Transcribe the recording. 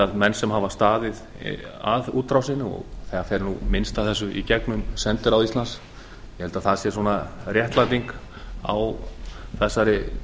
menn sem hafa staðið að útrásinni það er nú minnst af þessu í gegnum sendiráð íslands ég held að það sé réttlæting á þessari